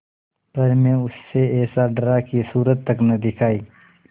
पर मैं उससे ऐसा डरा कि सूरत तक न दिखायी